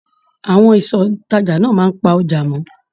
Àwọn ìsọ ìtàjà náà máa pà ọjà mọ.